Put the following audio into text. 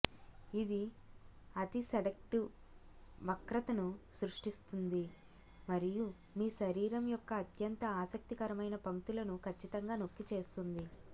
ఇది అతి సెడక్టివ్ వక్రతను సృష్టిస్తుంది మరియు మీ శరీరం యొక్క అత్యంత ఆసక్తికరమైన పంక్తులను ఖచ్చితంగా నొక్కి చేస్తుంది